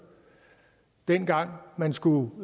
dengang man skulle